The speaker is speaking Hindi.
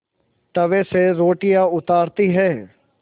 तवे से रोटियाँ उतारती हैं